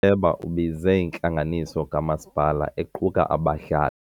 Uceba ubize intlanganiso kamasipala equka abahlali.